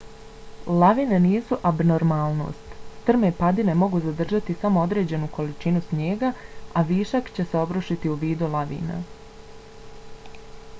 lavine nisu abnormalnost; strme padine mogu zadržati samo određenu količinu snijega a višak će se obrušiti u vidu lavina